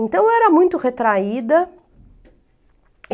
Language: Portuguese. Então, eu era muito retraída.